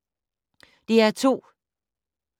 DR2